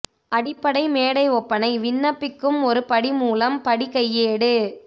அடிப்படை மேடை ஒப்பனை விண்ணப்பிக்கும் ஒரு படி மூலம் படி கையேடு